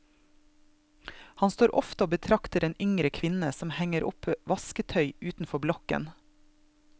Han står ofte og betrakter en yngre kvinne som henger opp vasketøy utenfor blokken.